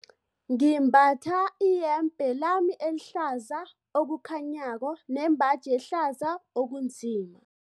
Ngimbatha iyembe lami elihlaza okukhanyako nembaji ehlaza okunzima.